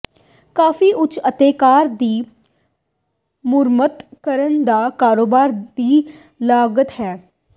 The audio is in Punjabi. ਕਾਫ਼ੀ ਉੱਚ ਅਤੇ ਕਾਰ ਦੀ ਮੁਰੰਮਤ ਕਰਨ ਦਾ ਕਾਰੋਬਾਰ ਦੀ ਲਾਗਤ ਹੈ